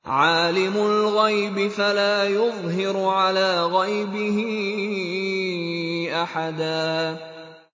عَالِمُ الْغَيْبِ فَلَا يُظْهِرُ عَلَىٰ غَيْبِهِ أَحَدًا